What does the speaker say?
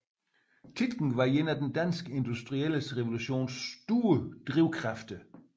Tietgen var en af den danske industrielle revolutions store drivkræfter